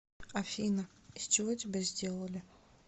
афина из чего тебя сделали